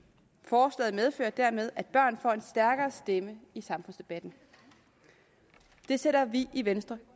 forslaget medfører dermed at børn får en stærkere stemme i samfundsdebatten det sætter vi i venstre